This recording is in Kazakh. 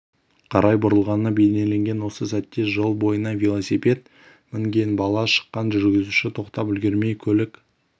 қарай бұрылғаны бейнеленген осы сәтте жол бойына велосипед мінген бала шыққан жүргізуші тоқтап үлгермей көлік